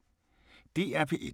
DR P1